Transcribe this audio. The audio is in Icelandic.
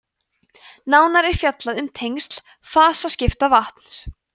nánar er fjallað um tengsl fasaskipta vatns